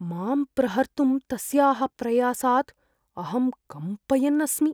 मां प्रहर्तुं तस्याः प्रयासात् अहं कम्पयन् अस्मि।